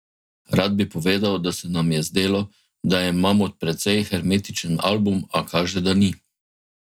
Rad bi povedal, da se nam je zdelo, da je Mamut precej hermetičen album, a kaže, da ni.